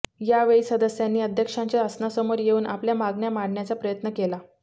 यावेळी सदस्यांनी अध्यक्षांच्या आसनासमोर येऊन आपल्या मागण्या मांडण्याचा प्रयत्न केला